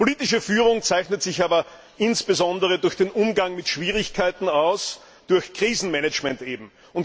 Politische Führung zeichnet sich aber insbesondere durch den Umgang mit Schwierigkeiten aus, durch Krisenmanagement eben.